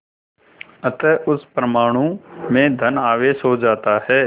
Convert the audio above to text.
अतः उस परमाणु में धन आवेश हो जाता है